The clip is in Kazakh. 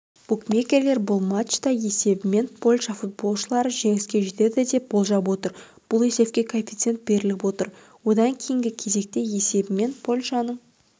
букмекерлер бұл матчта есебімен польша футболшылары жеңіске жетеді деп болжап отыр бұл есепке коэффициент беріліп отыр одан кейінгі кезекте есебімен польшаның